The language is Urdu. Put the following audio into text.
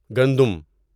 گندم